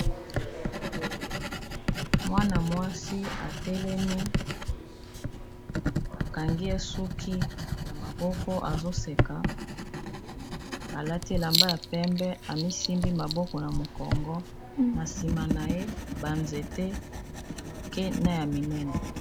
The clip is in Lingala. Mwana-mwasi atelemi bakangi esuki ya maboko azoseka alati elamba ya pembe, amisimbi maboko na mokongo na nsima na ye banzete ya mike ne ya minene.